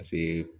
Paseke